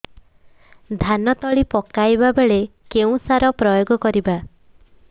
ଧାନ ତଳି ପକାଇବା ବେଳେ କେଉଁ ସାର ପ୍ରୟୋଗ କରିବା